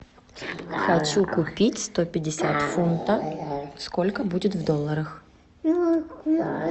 хочу купить сто пятьдесят фунтов сколько будет в долларах